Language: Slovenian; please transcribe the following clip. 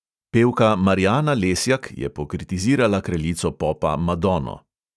Pevka marjana lesjak je pokritizirala kraljico popa madonno.